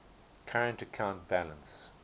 current account balance